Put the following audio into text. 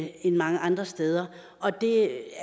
end mange andre steder og det